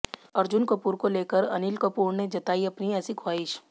अर्जुन कपूर को लेकर अनिल कपूर ने जताई अपनी ऐसी ख्वाहिश